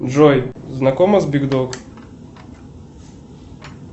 джой знакома с биг дог